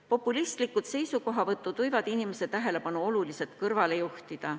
Populistlikud seisukohavõtud võivad inimese tähelepanu oluliselt kõrvale juhtida.